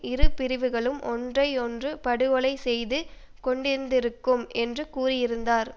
இரு பிரிவுகளும் ஒன்றை ஒன்று படுகொலை செய்து கொண்டிருந்திருக்கும் என்றும் கூறியிருந்தார்